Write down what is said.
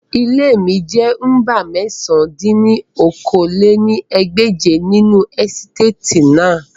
Ile mi jẹ nọmba mẹ̀sán dín ní okòó-lé-ní-ẹgbẹ́je ninu esitati naa